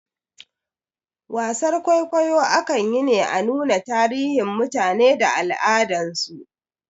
Wasar kwaikwayo akan yi ne a nuna tarihin mutane da al'adan su